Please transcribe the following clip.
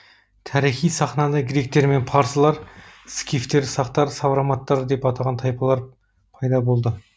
тарихи сахнада гректер мен парсылар скифтер сақтар савроматтар деп атаған тайпалар пайда болды